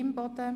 EP 2018